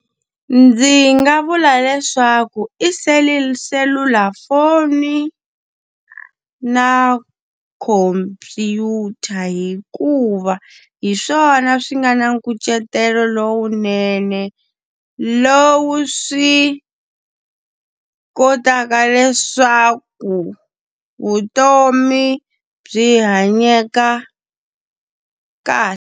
Ndzi nga vula leswaku i selulafoni na khomphyuta hikuva, hi swona swi nga na nkucetelo lowunene lowu swi kotaka leswaku vutomi byi hanyeka .